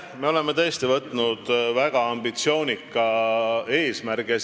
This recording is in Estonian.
Me oleme tõesti võtnud endale väga ambitsioonika eesmärgi.